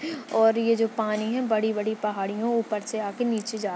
और ए जो पानी है बड़ी बड़ी पहाड़ीयो उपर से आ के नीचे --